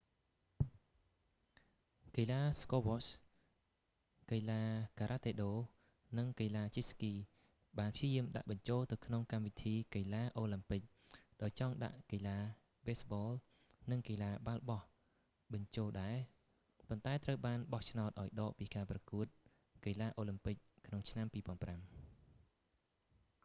កីឡាស្គវ៉ស្ហ squash កីឡាការ៉ាតេដូ និងកីឡាជិះស្គីបានព្យាយាមដាក់បញ្ចូលទៅក្នុងកម្មវិធីកីឡាអូឡាំពិក ដោយចង់ដាក់កីឡាបេស្បល និងកីឡាបាល់បោះបញ្ចូលដែរ ប៉ុន្តែត្រូវបានបោះឆ្នោតឱ្យដកពីការប្រកួតកីឡាអូឡាំពិកក្នុងឆ្នាំ2005